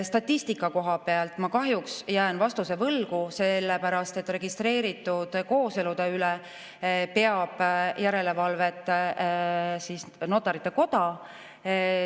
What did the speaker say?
Statistika koha pealt ma kahjuks jään vastuse võlgu, sest registreeritud kooselude üle peab järelevalvet Notarite Koda.